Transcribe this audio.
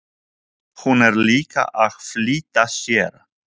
Hún er líka að flýta sér.